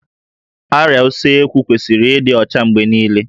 Árịá Usekwu kwesịrị ịdị ọcha mgbe niile